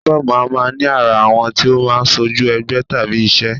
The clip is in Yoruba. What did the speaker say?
Únífọ́ọ̀mù máa ń ní àrà, àwọ̀ tí ó máa ń ṣojú ẹgbẹ́ tàbí iṣẹ́